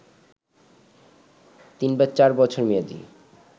৩/৪ বছর মেয়াদী